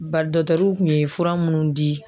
Bari kun ye fura minnu di.